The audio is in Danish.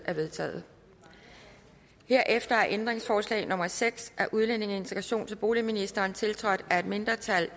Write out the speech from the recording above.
er vedtaget herefter er ændringsforslag nummer seks af udlændinge integrations og boligministeren tiltrådt af et mindretal